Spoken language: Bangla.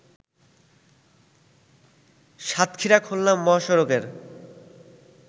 সাতক্ষীরা-খুলনা মহাসড়কের